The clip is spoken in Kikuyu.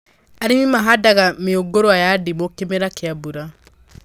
Arĩmi mahandaga mĩũngũrwa ya ndimũ kĩmera kĩa mbura